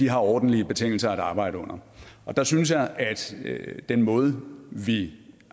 har ordentlige betingelser at arbejde under der synes jeg at den måde vi